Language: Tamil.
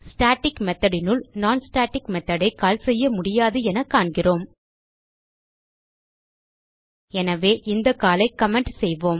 ஸ்டாட்டிக் methodனுள் நோன் ஸ்டாட்டிக் மெத்தோட் ஐ கால் செய்ய முடியாது என காண்கிறோம் எனவே இந்த கால் ஐ கமெண்ட் செய்வோம்